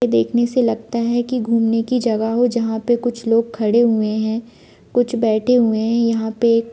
देखने से लगता है कि घूमने की जगह हो जहां पे कुछ लोग खड़े हुए हैं कुछ बैठे हुए हैं यहां पे--